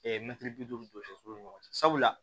mɛtiri bi duuru ni jɔ foro ni ɲɔgɔn cɛ sabula